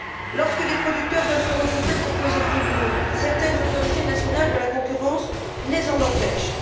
Lorsque des producteurs veulent se regrouper pour peser plus lourd, certaines autorités nationales de la concurrence les en empêchent.